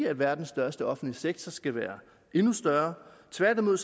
at verdens største offentlige sektor skal være endnu større tværtimod